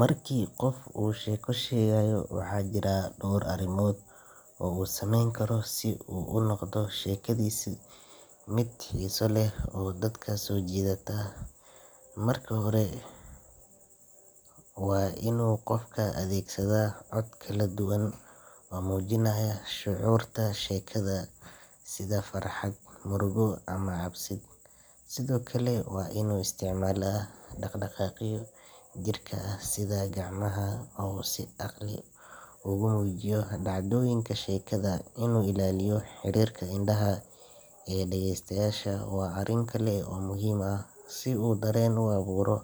Marka qof uu sheeko sheegayo, waxaa jira dhowr arrimood oo uu sameyn karo si uu u noqdo sheekadisa mid xiiso leh oo dadka soo jiidata. Marka hore, waa inuu qofku adeegsadaa cod kala duwan oo muujinaya shucuurta sheekada sida farxad, murugo ama cabsid. Sidoo kale, waa inuu isticmaalaa dhaqdhaqaaqyo jirka ah sida gacmaha oo uu si caqli ah ugu muujiyo dhacdooyinka sheekada. Inuu ilaaliyo xiriirka indhaha ee dhageystayaasha waa arrin kale oo muhiim ah, si uu dareen u abuuro.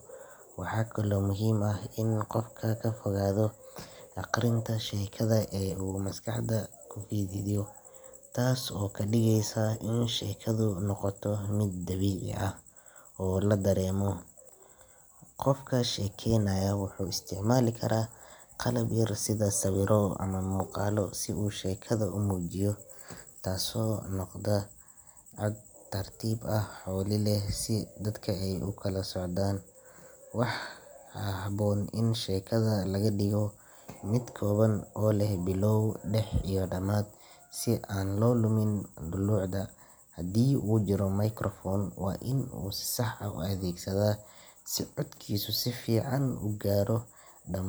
Waxaa kaloo muhiim ah inuu qofka ka fogaado akhrinta sheekada ee uu maskaxda ka xifdiyo, taas oo ka dhigeysa in sheekadu noqoto mid dabiici ah oo la dareemo. Qofka sheekaynaya wuxuu isticmaali karaa qalab yar sida sawirro ama muuqaallo si uu sheekada u muujiyo, taasoo kor u qaadaysa fahamka. Hadalka waa inuu noqdaa mid cad, tartiib ah oo xawli leh si dadka ay ula socdaan. Waxaa habboon in sheekada laga dhigo mid kooban oo leh bilow, dhex iyo dhammaad si aan la lumin dulucda. Haddii uu jiro microphone, waa inuu si sax ah u adeegsadaa si codkiisu si fiican u gaaro dhamaan.